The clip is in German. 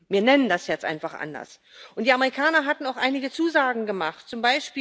Wir nennen das jetzt einfach anders. Und die Amerikaner hatten auch einige Zusagen gemacht, z.